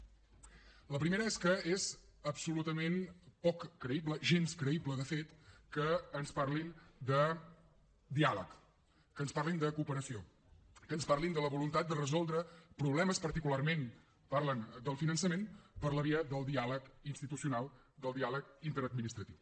la primera és que és absolutament poc creïble gens creïble de fet que ens parlin de diàleg que ens parlin de cooperació que ens parlin de la voluntat de resoldre problemes particularment parlen del finançament per la via del diàleg institucional del diàleg interadministratiu